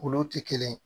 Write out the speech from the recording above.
Olu tɛ kelen ye